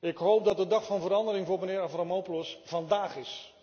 Ik hoop dat de dag van verandering voor meneer Avramopoulos vandaag is.